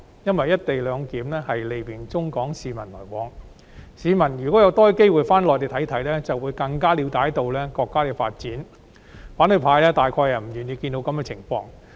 "一地兩檢"利便中港市民的來往，如果香港市民有更多機會返回內地，便會更了解國家的發展，反對派大概是不願意看到這情況。